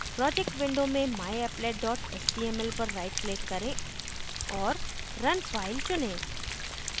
projects window में myapplet dot html पर right click करें और run file चुनें